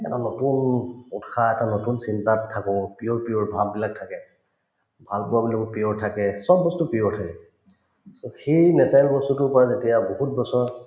এটা নতুন উত্‍সাহ এটা নতুন চিন্তাত থাকো pure pure ভাববিলাক থাকে ভালপোৱাবিলাকো pure থাকে চব বস্তু pure থাকে so সেই natural বস্তুতোৰ পৰা যেতিয়া বহুত বছৰ